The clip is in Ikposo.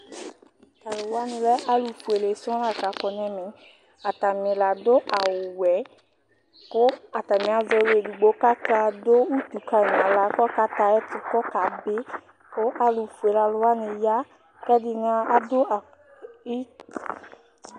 Talʋ wani lɛ alʋfuele sɔŋ lakɔ nʋ ɛmɛ Atani ladʋ awʋwɛ yɛ kʋ atani azɛ ɔlʋ edigno kʋ akadʋ utu kanʋ aɣla kʋ ɔkatɛ ayʋ ɛkʋ kʋ ɔkabi kʋ alʋfuele alʋwani ya kʋ ɛdini adʋ